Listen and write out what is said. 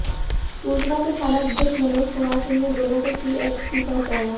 सूचना पर थानाध्यक्ष मनोज कुमार सिंह ने दोनों को सीएचसी पहुंचाया